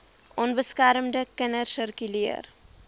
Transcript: onbeskermde kinders sirkuleer